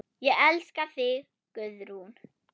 Ég elska þig, Guðrún.